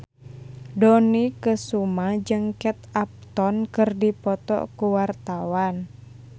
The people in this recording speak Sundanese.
Dony Kesuma jeung Kate Upton keur dipoto ku wartawan